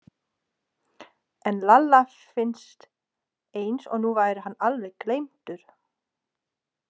En Lalla fannst eins og nú væri hann alveg gleymdur.